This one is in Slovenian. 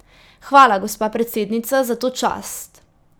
Hvala, gospa predsednica, za to čast.